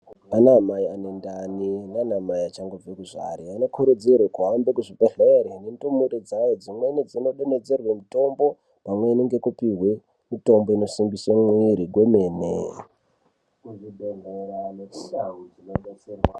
Anamai ane ndani nanamai achangobve kuzvara anokurudzirwa kuhambe kuzvibhedhleya nendumure dzawo dzimweni dzinodonhedzerwe mitombo pamweni ngekupihwe mitombo inosungise mwiri kwemene.